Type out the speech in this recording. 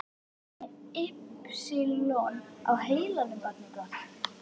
Ertu með ypsilon á heilanum barnið gott.